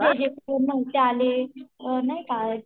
जे जे नव्हते आले नाय का